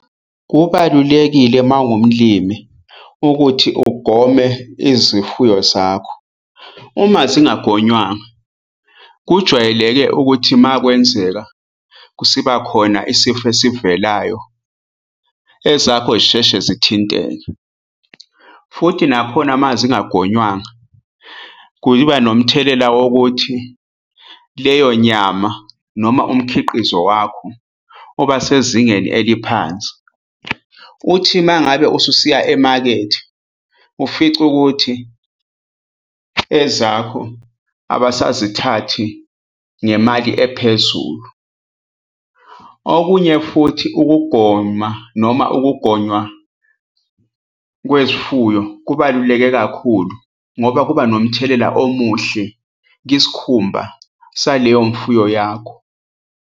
Kubalulekile uma uwumlimi ukuthi ugome izifuyo zakho. Uma zingagonywanga, kujwayeleke ukuthi uma kwenzeka kusibakhona isifo esivelayo ezakho zisheshe zithinteke. Futhi nakhona uma zingangonywanga, kuyibanomthelela wokuthi leyo nyama noma umkhiqizo wakho uba sezingeni eliphansi. Uthi uma ngabe ususiya emakethe, ufice ukuthi ezakho abasazithathi ngemali ephezulu. Okunye futhi, ukugoma noma ukugonywa kwezifuyo kubaluleke kakhulu ngoba kuba nomthelela omuhle kwisikhumba saleyo mfuyo yakho.